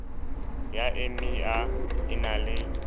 ya emia e na le